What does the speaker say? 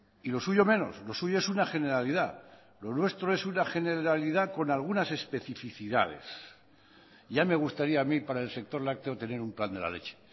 y lo suyo menos lo suyo es una generalidad lo nuestro es una generalidad con algunas especificidades ya me gustaría a mí para el sector lácteo tener un plan de la leche